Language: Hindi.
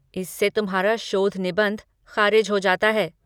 इससे तुम्हारा शोध निबंध ख़ारिज हो जाता है।